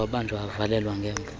wabanjwa wavalelwa ngemva